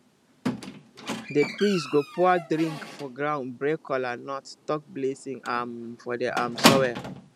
the priest go pour drink for ground break kola and talk blessing um for the um soil